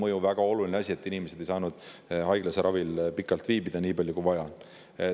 See on väga oluline asi, sest inimesed ei ole saanud haiglas ravil viibida nii pikalt, kui vaja on olnud.